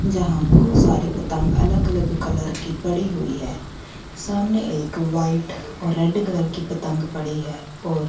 जहां बहोत सारी पतंग अलग अलग कलर की पड़ी हुई है सामने एक वाइट और रेड कलर की पतंग पड़ी है और--